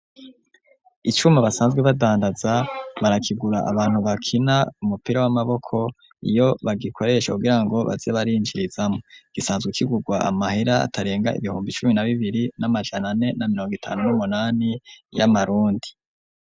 Icuma basanzwe badandaza, barakigura abantu bakina umupira w'amaboko, iyo bagikoresha kugira ngo baze barinjirizamwo, gisanzwe kigurwa amahera atarenga ibihumbi cumi na bibiri n'amajanane n'a mirongo itanu n'umunani y'amarundi.